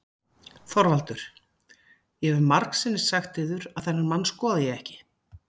ÞORVALDUR: Ég hef margsinnis sagt yður að þennan mann skoða ég ekki.